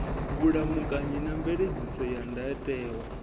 vhulamukanyi na mveledziso ya ndayotewa